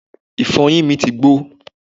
ìfọyín mi ti gbó